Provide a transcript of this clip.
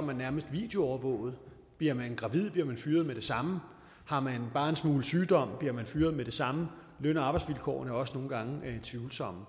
man nærmest videoovervåget bliver man gravid bliver man fyret med det samme har man bare en smule sygdom bliver man fyret med det samme løn og arbejdsvilkårene er også nogle gange tvivlsomme